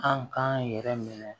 An k'an yɛrɛ minɛ